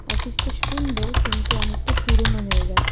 Office - টা সুন্দর কিন্তু অনেকটা পুরনো হয়ে গেছে ।